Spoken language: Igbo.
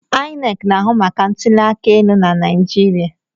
INEC na-ahụ maka ntụli aka elu na Naịjirịa.